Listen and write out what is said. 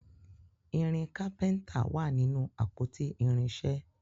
irinṣẹ kápẹ́ńtà wá nínú àpótí irinṣẹ